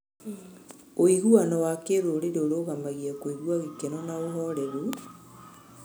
Ũiguano wa kĩrũrĩrĩ ũrũgamagia kũigua gĩkeno na ũhoreru,